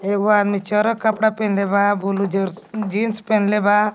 एगो आदमी चरक कपड़ा पेनले बा बुलू जरस जीन्स पेनले बा.